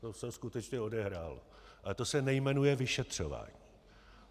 To se skutečně odehrálo, ale to se nejmenuje vyšetřování.